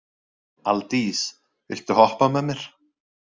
Aldís, viltu hoppa með mér?